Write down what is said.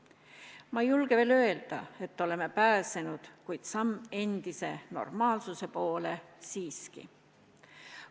Ma ei julge veel öelda, et oleme pääsenud, kuid samm endise normaalsuse poole on see siiski.